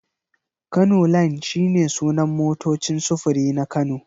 Kano line shi ne sunan motocin sufuri na Kano.